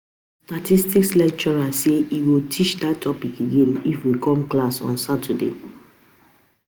Our statistics lecturer say he go teach dat topic again if we come class on saturday